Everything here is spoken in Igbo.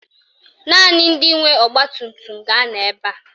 Naanị ndị nwe ọgbatumtum ga-anọ ebe a